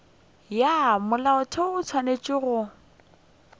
ya molaotheo o swanetše go